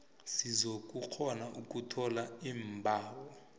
zizokukghona ukuthola iimbawo